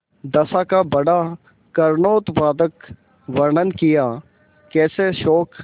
दशा का बड़ा करूणोत्पादक वर्णन कियाकैसे शोक